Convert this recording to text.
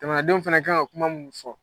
Jamanadenw fana kan ka kuma minnu fɔ.